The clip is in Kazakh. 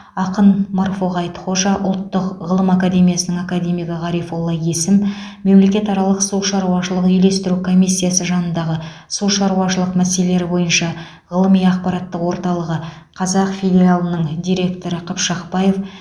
ақын марфуға айтхожа ұлттық ғылым академиясының академигі ғарифолла есім мемлекет аралығы су шаруашылық үйлестіру комиссиясы жанындағы су шаруашылық мәселелері бойынша ғылыми ақпараттық орталығы қазақ филиалының директоры қыпшақбаев